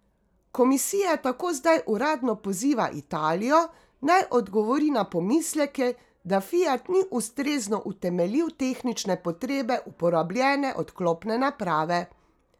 Komisija tako zdaj uradno poziva Italijo, naj odgovori na pomisleke, da Fiat ni ustrezno utemeljil tehnične potrebe uporabljene odklopne naprave.